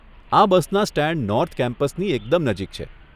આ બસના stand north કેમ્પસની એકદમ નજીક છે.